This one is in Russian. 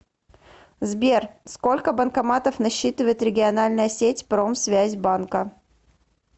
сбер сколько банкоматов насчитывает региональная сеть промсвязьбанка